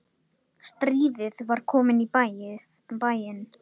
Stríðið var komið í bæinn!